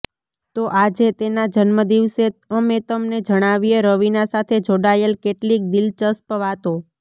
તો આજે તેના જન્મ દિવસે અમે તમને જણાવીએ રવીના સાથે જોડાયેલ કેટલીક દિલચસ્પ વાતો